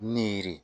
Ni yiri